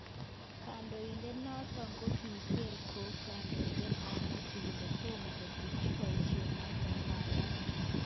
Kondoidet noton kokiger'ngog kandoinatet tab Mathew kole tomo kotebchi boisho noton wunyat.